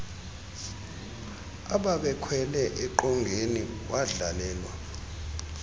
ababekhwele eqongeni wadlalelwa